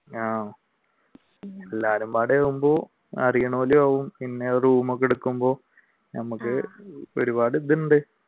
ആഹ് ആകുമ്പോൾ പിന്നെ റൂമൊക്കെ എടുക്കുമ്പോൾ ഞമ്മക്ക് ഒരുപാട് ഇതുണ്ട്